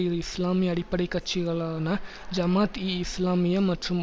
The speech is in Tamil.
இரு இஸ்லாமிய அடிப்படை கட்சிகளான ஜாமாத்இஇஸ்லாமிய மற்றும்